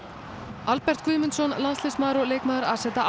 Albert Guðmundsson landsliðsmaður og leikmaður